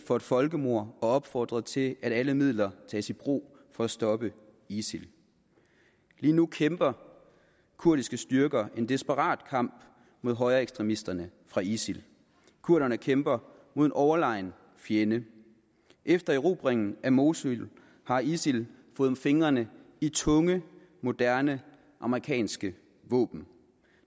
for et folkemord og opfordret til at alle midler tages i brug for at stoppe isil lige nu kæmper kurdiske styrker en desperat kamp mod højreekstremisterne fra isil kurderne kæmper mod en overlegen fjende efter erobringen af mosul har isil fået fingrene i tunge moderne amerikanske våben